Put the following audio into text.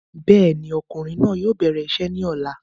Bẹ́ẹ̀ni, ọkùnrin náà yóò bẹ̀rẹ̀ isẹ́ ní ọ̀la